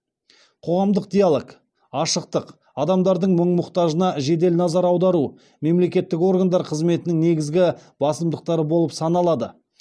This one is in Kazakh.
қоғамдық диалог ашықтық адамдардың мұң мұқтажына жедел назар аудару мемлекеттік органдар қызметінің негізгі басымдықтары болып саналады